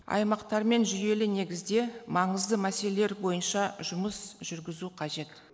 аймақтармен жүйелі негізде маңызды мәселелер бойынша жұмыс жүргізу қажет